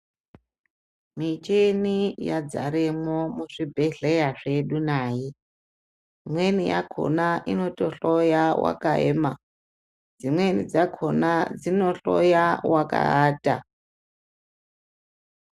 Michini yadzaremo muzvibhedhleya zvedu nayo. Imweni yakhona inotohloya wakayema, dzimweni dzakhona dzinohloya wakaata.